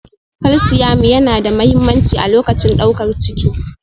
Kalsiamu yana da mahimmanci a lokacin daukar ciki